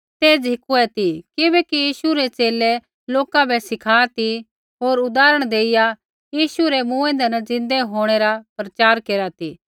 ते झ़िकुऐ ती किबैकि यीशु रै च़ेले लोका बै सिखा ती होर उदाहरण देइया यीशु रै मूँऐंदै न ज़िन्दै होंणै रा प्रचार केरा ती